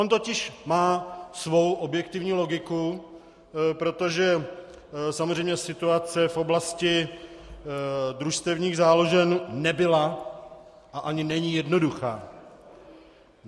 On totiž má svou objektivní logiku, protože samozřejmě situace v oblasti družstevních záložen nebyla a ani není jednoduchá.